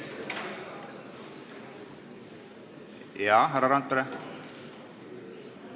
Jah, härra Randpere?